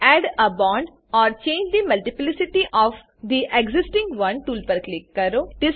add a bond or change the multiplicity of the existing one tool પર click કરો